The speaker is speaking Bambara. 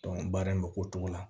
baara in bɛ k'o cogo la